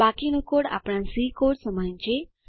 બાકીનો કોડ આપણા C code સમાન છે